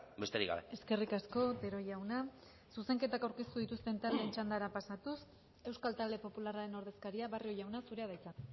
besterik gabe eskerrik asko otero jauna zuzenketak aurkeztu dituzten taldeen txandara pasatuz euskal talde popularraren ordezkaria barrio jauna zurea da hitza